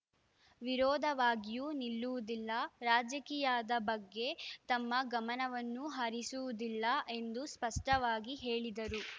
ವಿರೋಧವಾಗಿಯೂ ನಿಲ್ಲುವುದಿಲ್ಲ ರಾಜಕೀಯದ ಬಗ್ಗೆ ತಮ್ಮ ಗಮನವನ್ನೂ ಹರಿಸುವುದಿಲ್ಲ ಎಂದು ಸ್ಪಷ್ಟವಾಗಿ ಹೇಳಿದರು